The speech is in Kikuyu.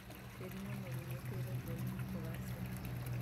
Tĩri mũnoru nĩũteithagia ũrĩmi kũgacĩra